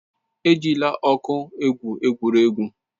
Ejila ọkụ egwu egwuregwu.